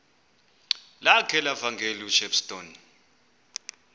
lakhe levangeli ushepstone